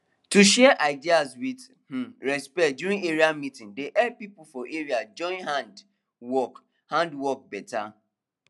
to share ideas with um respect during area meeting dey help people for area join hand work hand work beta